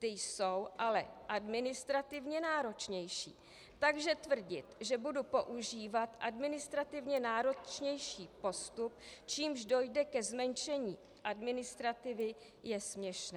Ta jsou ale administrativně náročnější, takže tvrdit, že budu používat administrativně náročnější postup, čímž dojde ke zmenšení administrativy, je směšné.